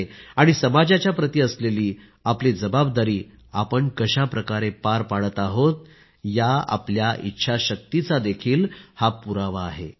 आणि समाजाच्या प्रति असलेली आपली जबाबदारी आपण कशाप्रकारे पार पाडत आहोत या आपल्या इच्छाशक्तीचा हा पुरावाच आहे